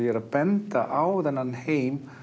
benda á þennan heim